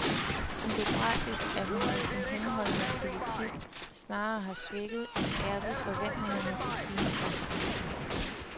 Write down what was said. Hun bebrejdes, at hun med sin henholdende politik snarere har svækket end skærpet forventningerne til klimakonferencen.